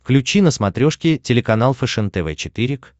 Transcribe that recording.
включи на смотрешке телеканал фэшен тв четыре к